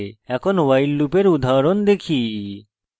এখন while লুপের উদাহরণ দেখি